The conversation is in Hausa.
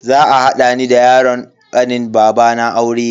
Za a hada ni da yaron kanin babana aure.